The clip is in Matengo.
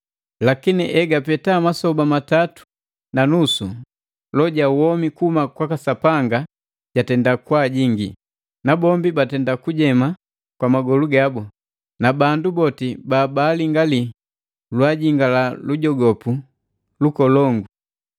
Lakini egapeta masoba matatu na nusu loho ja womi kuhuma kwaka Sapanga jatenda kwaajingi, nabombi batenda kujema kwa magolu gabu, na bandu boti babaalingaliya lwaajingala lujogopu lukolongu.